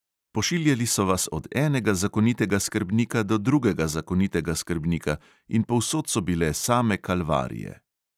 Pošiljali so vas od enega zakonitega skrbnika do drugega zakonitega skrbnika in povsod so bile same kalvarije.